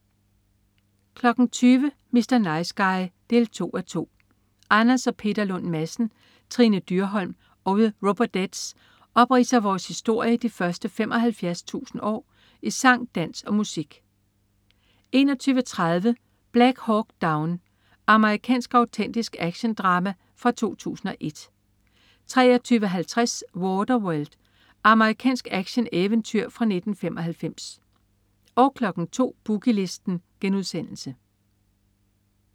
20.00 Mr. Nice Guy 2:2. Anders og Peter Lund Madsen, Trine Dyrholm og The Robodettes opridser vores historie de første 75.000 år i sang, dans og musik 21.30 Black Hawk Down. Amerikansk autentisk actiondrama fra 2001 23.50 Waterworld. Amerikansk actioneventyr fra 1995 02.00 Boogie Listen*